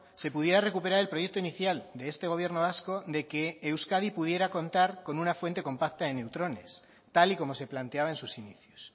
se pudiera recuperar el proyecto inicial de este gobierno vasco de que euskadi pudiera contar con una fuente compacta de neutrones tal y como se planteaba en sus inicios